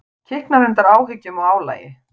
Kiknar undan áhyggjum og álagi.